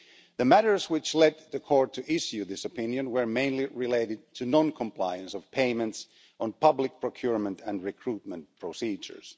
The matters which led the Court to issue this opinion were mainly related to non compliance of payments on public procurement and recruitment procedures.